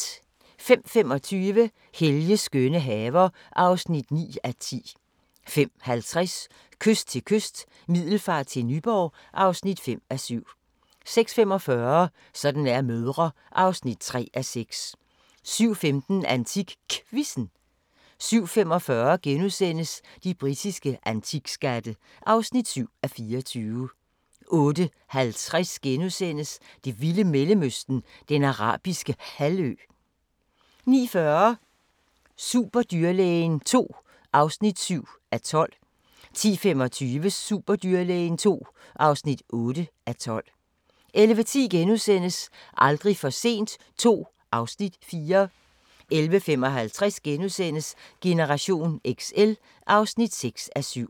05:25: Helges skønne haver (9:10) 05:50: Kyst til kyst – Middelfart til Nyborg (5:7) 06:45: Sådan er mødre (3:6) 07:15: AntikQuizzen 07:45: De britiske antikskatte (7:24)* 08:50: Det vilde Mellemøsten – Den Arabiske Halvø * 09:40: Superdyrlægen II (7:12) 10:25: Superdyrlægen II (8:12) 11:10: Aldrig for sent II (Afs. 4)* 11:55: Generation XL (6:7)*